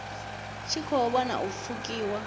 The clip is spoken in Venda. tshi khou vhona u pfukiwa